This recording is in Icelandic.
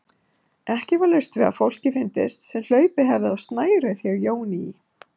Ekki var laust við að fólki fyndist sem hlaupið hefði á snærið hjá Jóni í